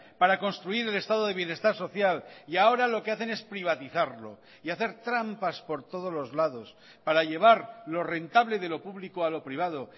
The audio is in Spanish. para construir el estado de bienestar social y ahora lo que hacen es privatizarlo y hacer trampas por todos los lados para llevar lo rentable de lo público a lo privado